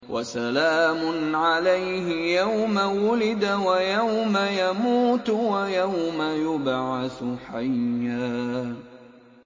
وَسَلَامٌ عَلَيْهِ يَوْمَ وُلِدَ وَيَوْمَ يَمُوتُ وَيَوْمَ يُبْعَثُ حَيًّا